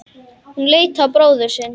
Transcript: Hún leit á bróður sinn.